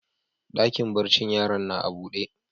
Dakin barcin yaran na a buɗe.